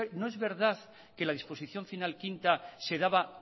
no es verdad que la disposición final quinta se daba